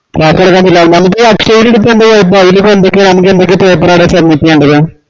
class തൊടങ്ങിയ ഈ അക്ഷയയേൽ നമ്മക്ക് എന്തൊക്കെ paper ആണ് submit ചെയ്യണ്ടത്‍